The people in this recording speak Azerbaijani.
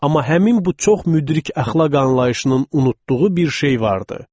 Amma həmin bu çox müdrik əxlaq anlayışının unutduğu bir şey vardı.